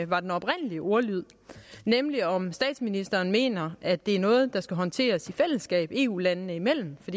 var den oprindelige ordlyd nemlig om statsministeren mener at det er noget der skal håndteres i fællesskab eu landene imellem for